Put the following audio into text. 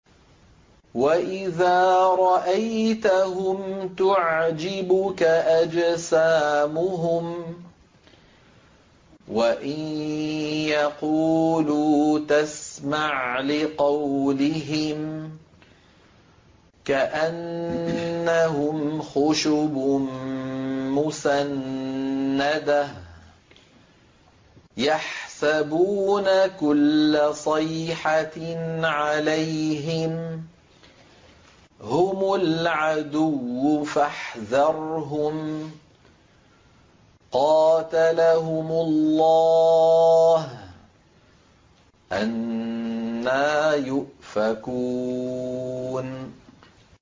۞ وَإِذَا رَأَيْتَهُمْ تُعْجِبُكَ أَجْسَامُهُمْ ۖ وَإِن يَقُولُوا تَسْمَعْ لِقَوْلِهِمْ ۖ كَأَنَّهُمْ خُشُبٌ مُّسَنَّدَةٌ ۖ يَحْسَبُونَ كُلَّ صَيْحَةٍ عَلَيْهِمْ ۚ هُمُ الْعَدُوُّ فَاحْذَرْهُمْ ۚ قَاتَلَهُمُ اللَّهُ ۖ أَنَّىٰ يُؤْفَكُونَ